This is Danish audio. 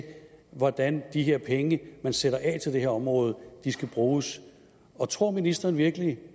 hvordan de her penge man sætter af til det her område skal bruges tror ministeren virkelig